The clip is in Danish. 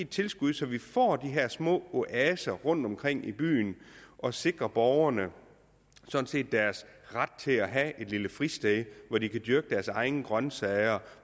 tilskud så vi får de her små oaser rundtomkring i byen og sikrer borgerne deres ret til at have et lille fristed hvor de kan dyrke deres egne grønsager